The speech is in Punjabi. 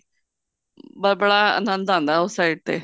ਬੜਾ ਅਨੰਦ ਆਉਂਦਾ ਉਸ side ਤੇ